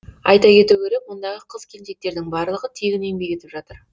айта кету керек мұндағы қыз келіншектердің барлығы тегін еңбек етіп жатыр